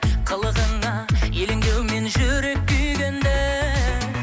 қылығыңа елеңдеумен жүрек күйге енді